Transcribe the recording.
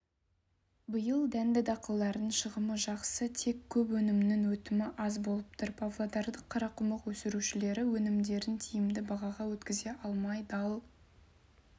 биыл дәнді-дақылдардың шығымы жақсы тек көп өнімнің өтімі аз болып тұр павлодарлық қарақұмық өсірушілер өнімдерін тиімді бағаға өткізе алмай дал